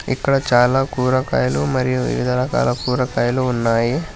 ఇక్కడ చాలా కూరగాయలు మరియు వివిధ రకాల కూర కాయలు ఉన్నాయి.